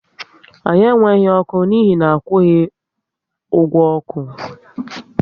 Anyị enweghị ọkụ n'ihi akwughi ọgwụ oku